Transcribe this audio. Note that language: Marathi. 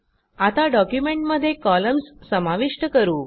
आता डॉक्युमेंटमध्ये कॉलम्स समाविष्ट करू